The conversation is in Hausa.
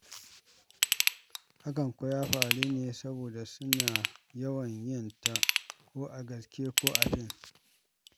Hakan kuwa ya faru ne saboda suna yawan yin ta, ko a gaske ko a fim.